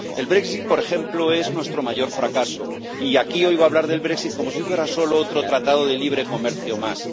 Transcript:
El brexit por ejemplo, es nuestro mayor fracaso, y aquí oigo hablar del brexit como si fuera solo otro tratado de libre comercio más.